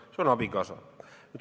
See on nii abikaasa puhul.